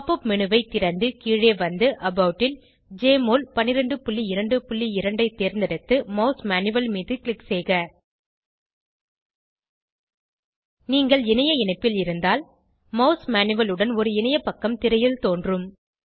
pop up menu ஐ திறந்து கீழே வந்து அபாட் ல் ஜெஎம்ஒஎல் 1222 ஐ தேர்ந்தெடுத்து மாஸ் மேனுவல் மீது க்ளிக் செய்க நீங்கள் இணைய இணைப்பில் இருந்தால் மாஸ் மேனுவல் உடன் ஒரு இணையப்பக்கம் திரையில் தோன்றும்